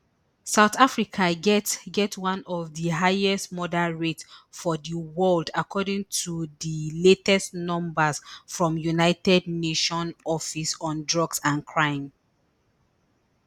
south africa get get one of di highest murder rates for di world according to di latest numbers from united nations office on drugs and crime